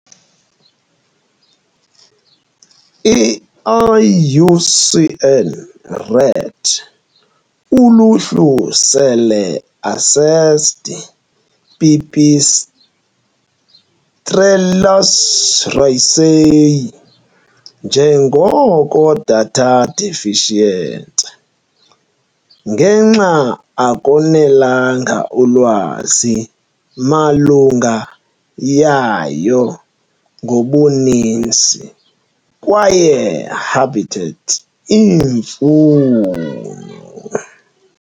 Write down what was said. I - IUCN Red Uluhlu sele assessed "Pipistrellus raceyi" njengoko "Data Deficient" ngenxa akonelanga ulwazi malunga yayo ngobuninzi kwaye habitat iimfuno.